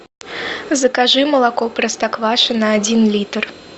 закажи молоко простоквашино один литр